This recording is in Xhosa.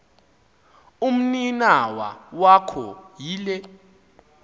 umninawa wakho yile